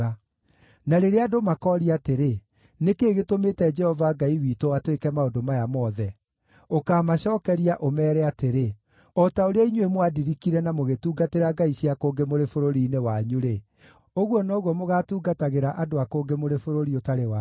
“Na rĩrĩa andũ makooria atĩrĩ, ‘Nĩ kĩĩ gĩtũmĩte Jehova Ngai witũ atwĩke maũndũ maya mothe?’ Ũkamacookeria, ũmeere atĩrĩ: ‘O ta ũrĩa inyuĩ mwandirikire na mũgĩtungatĩra ngai cia kũngĩ mũrĩ bũrũri-inĩ wanyu-rĩ, ũguo noguo mũgaatungatagĩra andũ a kũngĩ mũrĩ bũrũri ũtarĩ wanyu.’